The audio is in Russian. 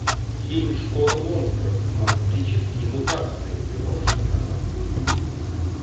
фильм школа монстров монстрические мутации ты можешь показать